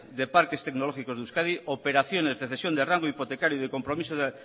de parques tecnológicos de euskadi operaciones de cesión de rango hipotecario y de compromiso